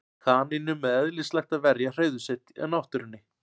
kanínum er eðlislægt að verja hreiður sitt í náttúrunni